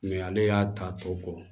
ale y'a ta tɔ kɔ